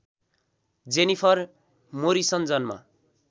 Jennifer Morrison जन्म